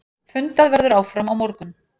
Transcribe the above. Fundað verður áfram á morgun.